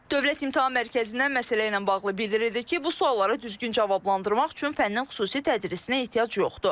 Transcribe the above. Dövlət İmtahan Mərkəzindən məsələ ilə bağlı bildirildi ki, bu sualları düzgün cavablandırmaq üçün fəndən xüsusi tədrisinə ehtiyac yoxdur.